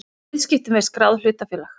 í viðskiptum við skráð hlutafélag.